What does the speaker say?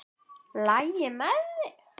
LAGI MEÐ ÞIG?